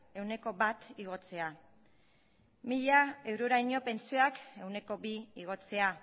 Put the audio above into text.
ehuneko bat igotzea mila euroraino pentsioak ehuneko bi igotzea